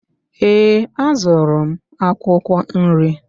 Ee, azụrụ m akwụkwọ nri.